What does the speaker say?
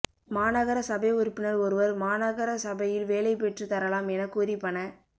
மாநகர சபை உறுப்பினர் ஒருவர் மாநகர சபையில் வேலை பெற்று தரலாம் என கூறி பண